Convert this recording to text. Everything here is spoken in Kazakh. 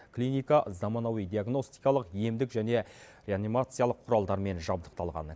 клиника заманауи диагностикалық емдік және реанимациялық құралдармен жабдықталған